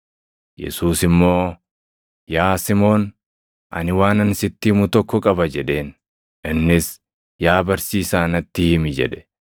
Yesuus immoo, “Yaa Simoon, ani waanan sitti himu tokko qaba” jedheen. Innis, “Yaa barsiisaa natti himi” jedhe.